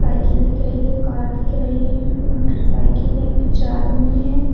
Cycle दिख रही है कार दिख रही है मोटरसाइकिल है पीछे आदमी है।